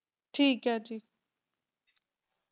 ਠੀਕ ਹੈ